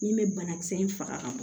Min bɛ banakisɛ in faga